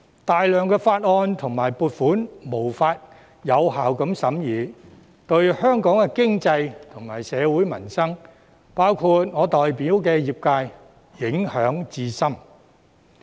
大量法案和撥款申請無法獲有效審議，這對香港經濟及社會民生，包括我代表的業界，影響至深。